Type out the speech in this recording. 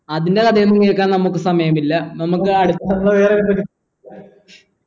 അതിൻ്റെ കഥയൊന്നും കേൾക്കാൻ നമ്മക് സമയില്ല നമുക്ക് അടുതെന്താ